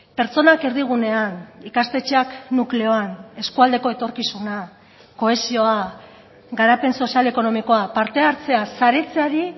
pertsonak erdigunean ikastetxeak nukleoan eskualdeko etorkizuna kohesioa garapen sozial ekonomikoa parte hartzea saretzeari